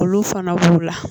Olu fana b'u la